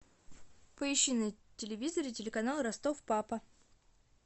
поищи на телевизоре телеканал ростов папа